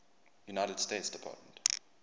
united states department